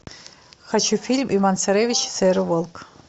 хочу фильм иван царевич и серый волк